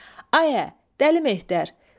Ayə, Dəli Mehdir!